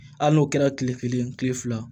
Hali n'o kɛra tile kelen kile fila